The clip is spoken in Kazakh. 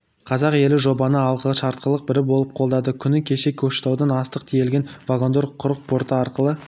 қазақ елі жобаны алғашқылардың бірі болып қолдады күні кеше көкшетаудан астық тиелген вагондар құрық порты арқылы